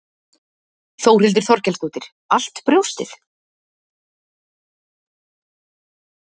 Þórhildur Þorkelsdóttir: Allt brjóstið?